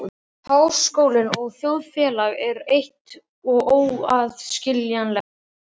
Háskólinn og þjóðfélagið er eitt og óaðskiljanlegt.